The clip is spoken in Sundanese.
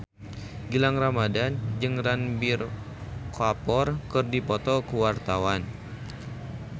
Gilang Ramadan jeung Ranbir Kapoor keur dipoto ku wartawan